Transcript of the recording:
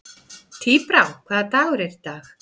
Tíbrá, hvaða dagur er í dag?